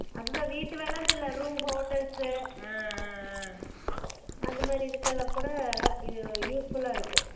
அதுதான் வீட்டு வேலைண்டு இல்ல room hotels சு அந்த மாறி இதுக்குஎல்லாம் கூட இது useful அ இருக்கும்